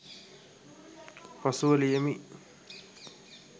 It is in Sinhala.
පසුව ලියමි